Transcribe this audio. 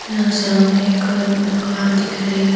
यहाँ सामने एक दुकान दिख रही है।